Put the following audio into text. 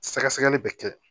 Sɛgɛsɛgɛli bɛ kɛ